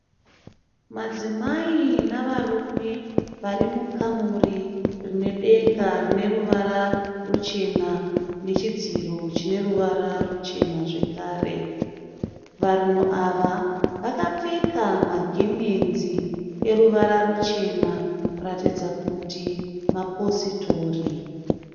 Madzimai navarume varimukamuri rinedenga rineruvara ruchena nechidziro chineruvara ruchena zvekare. Vanhu ava vakapfeka magemenzi eruvara ruchena kuratidza kuti mapositori.